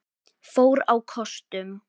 fór á kostum.